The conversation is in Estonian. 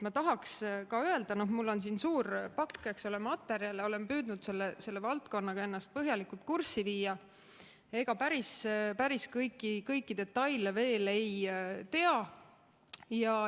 Ma tahaks ka öelda – mul on siin suur pakk materjale, olen püüdnud selle valdkonnaga ennast põhjalikult kurssi viia –, et ega päris kõiki detaile veel ei tea.